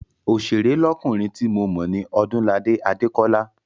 Oṣèré lọ́kùnrin ti mo mọ̀ ní Ọdúnladé Adékọ́lá.